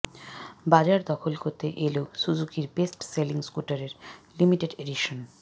বাজার দখল করতে এল সুজুকির বেস্ট সেলিং স্কুটারের লিমিটেড এডিশন